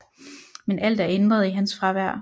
Men alt er ændret i hans fravær